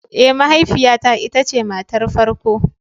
Ee, mahaifiyata ita ce matar farko.